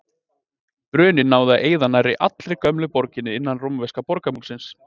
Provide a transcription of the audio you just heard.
Bruninn náði að eyða nær allri gömlu borginni innan rómverska borgarmúrsins.